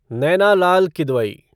Naina Lal Kidwai